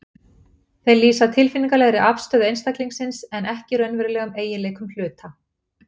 Þeir lýsa tilfinningalegri afstöðu einstaklingsins en ekki raunverulegum eiginleikum hluta.